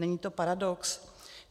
Není to paradox?